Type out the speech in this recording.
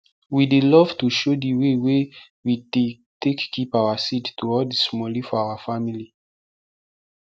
we dey love to show di wey we dey take keep our seed to all the smallie for our family